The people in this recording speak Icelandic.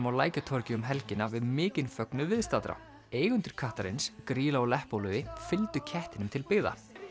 á Lækjatorgi um helgina við mikinn fögnuð viðstaddra eigendur kattarins Grýla og Leppalúði fylgdu kettinum til byggða